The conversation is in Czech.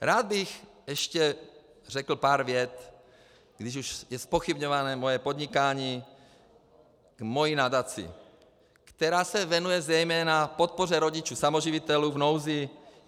Rád bych ještě řekl pár vět, když už je zpochybňováno moje podnikání, ke své nadaci, která se věnuje zejména podpoře rodičů samoživitelů v nouzi.